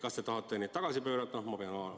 Kas te tahate midagi tagasi pöörata?